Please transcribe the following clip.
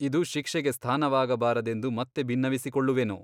ಇದು ಶಿಕ್ಷೆಗೆ ಸ್ಥಾನವಾಗಬಾರದೆಂದು ಮತ್ತೆ ಬಿನ್ನವಿಸಿಕೊಳ್ಳುವೆನು.